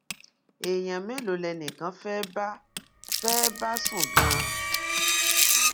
èèyàn mélòó lẹnìkan fẹ́ bá fẹ́ẹ́ bá sùn gan-an